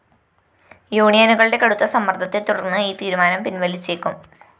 യൂണിയനുകളുടെ കടുത്ത സമ്മര്‍ദ്ദത്തെ തുടര്‍ന്ന് ഈ തീരുമാനം പിന്‍വലിച്ചേക്കും